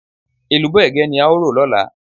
Èlùbọ́ Ẹ̀gẹ́ ni a ó rò lọ́la.